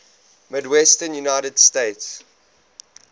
midwestern united states